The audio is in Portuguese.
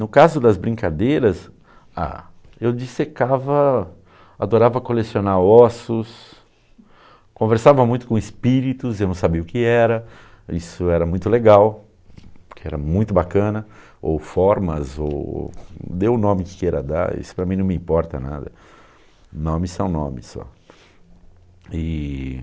No caso das brincadeiras, ah, eu dissecava, adorava colecionar ossos, conversava muito com espíritos, eu não sabia o que era, isso era muito legal, era muito bacana, ou formas, ou dê o nome que queira dar, isso para mim não me importa nada, nomes são nomes só.